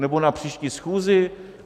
Nebo na příští schůzi?